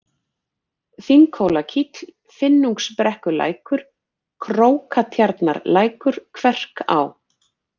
Þinghólakíll, Finnungsbrekkulækur, Krókatjarnarlækur, Kverká